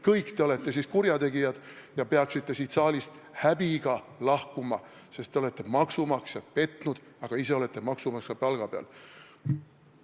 Kõik te olete siis kurjategijad ja peaksite siit saalist häbiga lahkuma, sest te olete maksumaksjat petnud, aga ise olete maksumaksja palga peal.